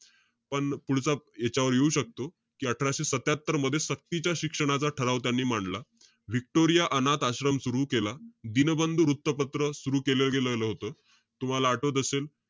पण पुढचा याच्यावर येऊ शकतो. कि अठराशे सत्यात्तरमध्ये, सक्तीच्या शिक्षणाचा ठराव त्यांनी मांडला. व्हिक्टोरिया अनाथ आश्रम सुरू केला. दीनबंधू वृत्तपत्र सुरु केलं गेलेलं होतं. तुम्हाला आठवत असेल.